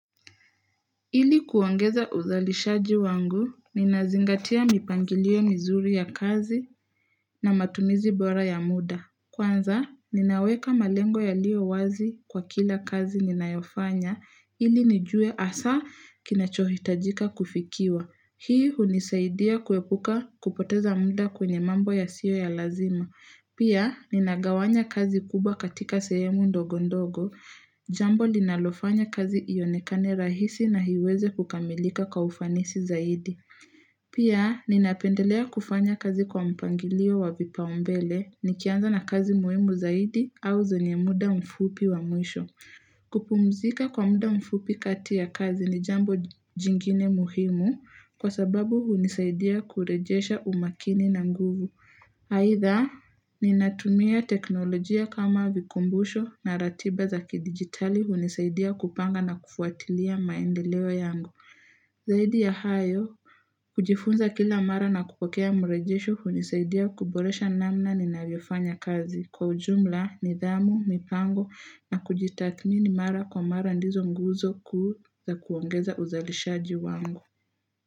Ili kuongeza uzalishaji wangu, ninazingatia mipangilio mizuri ya kazi na matumizi bora ya muda. Kwanza, ninaweka malengo yaliyo wazi kwa kila kazi ninayofanya, ili nijue hasa kinachohitajika kufikiwa. Hii hunisaidia kuepuka kupoteza muda kwenye mambo yasiyo ya lazima. Pia, ninagawanya kazi kubwa katika sehemu ndogondogo. Jambo linalofanya kazi ionekane rahisi na iweze kukamilika kwa ufanisi zaidi. Pia, ninapendelea kufanya kazi kwa mpangilio wa vipaumbele nikianza na kazi muhimu zaidi au zenye muda mfupi wa mwisho. Kupumzika kwa muda mfupi kati ya kazi ni jambo jingine muhimu kwa sababu hunisaidia kurejesha umakini na nguvu. Aidha, ninatumia teknolojia kama vikumbusho na ratiba za kidigitali hunisaidia kupanga na kufuatilia maendeleo yangu. Zaidi ya hayo, kujifunza kila mara na kupokea mrejesho hunisaidia kuboresha namna ninavyofanya kazi. Kwa ujumla, nidhamu, mipango na kujitathmini mara kwa mara ndizo nguzo kuu za kuongeza uzalishaji wangu.